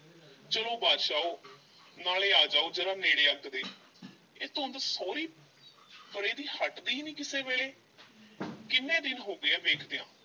ਚਲੋ ਬਾਦਸ਼ਾਓ ਨਾਲੇ ਆ ਜਾਓ ਜ਼ਰਾ ਨੇੜੇ ਅੱਗ ਦੇ ਇਹ ਧੁੰਦ ਸਹੁਰੀ ਪਰੇ ਦੀ ਹਟਦੀ ਨੀ ਕਿਸੇ ਵੇਲੇ ਕਿੰਨੇ ਦਿਨ ਹੋ ਗਏ ਐ ਵੇਖਦਿਆਂ,